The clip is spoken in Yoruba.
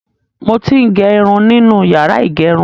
Mo ti ń gẹ irun nínú yàrá ìgẹrun.